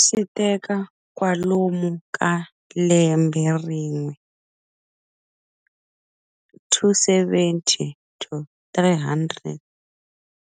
Switeka kwalomu ka lembe rin'we, 270 to 300